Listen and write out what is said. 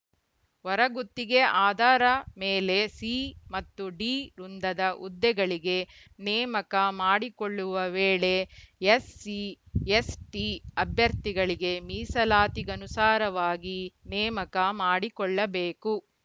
ಹೊರಗುತ್ತಿಗೆ ಅಧಾರ ಮೇಲೆ ಸಿ ಮತ್ತು ಡಿ ವೃಂದದ ಹುದ್ದೆಗಳಿಗೆ ನೇಮಕ ಮಾಡಿಕೊಳ್ಳುವ ವೇಳೆ ಎಸ್‌ಸಿಎಸ್‌ಟಿ ಅಭ್ಯರ್ಥಿಗಳಿಗೆ ಮೀಸಲಾತಿಗನುಸಾರವಾಗಿ ನೇಮಕ ಮಾಡಿಕೊಳ್ಳಬೇಕು